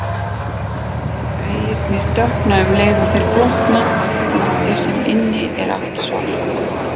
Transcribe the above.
Veggirnir dökkna um leið og þeir blotna, úti sem inni er allt svart.